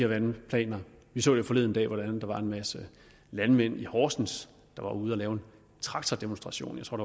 vandplaner vi så jo forleden dag hvordan der var en masse landmænd i horsens der var ude at lave en traktordemonstration jeg tror